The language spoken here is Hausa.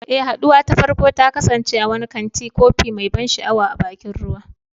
Eh, haduwar ta farko ta kasance a wani kantin kofi mai ban sha'awa a bakin ruwa.